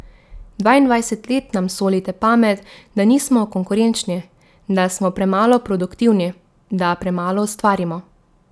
Dvaindvajset let nam solite pamet, da nismo konkurenčni, da smo premalo produktivni, da premalo ustvarimo.